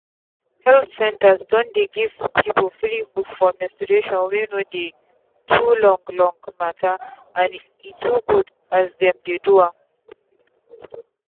health centres don dey give people free book for menstruation wey dey too long long matter and e too good as dem dey do am.